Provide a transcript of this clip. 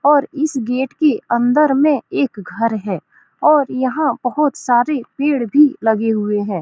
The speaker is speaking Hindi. और इस गेट के अन्दर में एक घर है और यहाँ बोहोत सारे पेड़ भी लगे हुए है ।